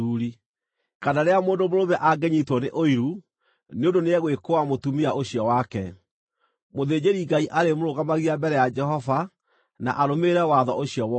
kana rĩrĩa mũndũ mũrũme angĩnyiitwo nĩ ũiru nĩ ũndũ nĩegwĩkũũa mũtumia ũcio wake. Mũthĩnjĩri-Ngai arĩmũrũgamagia mbere ya Jehova na arũmĩrĩre watho ũcio wothe.